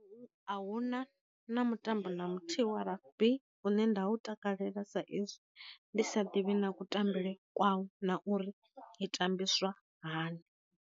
A huna na mutambo na muthihi wa rugby u ne nda u takalela sa ezwi ndi sa ḓivhi na ku tambele kwawo na uri i tambiswa hani.